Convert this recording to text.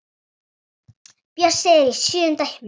Bjössi er í sjöunda himni.